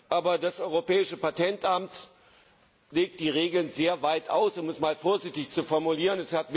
Aber das Europäische Patentamt legt die Regeln sehr weit aus, um es mal vorsichtig zu formulieren.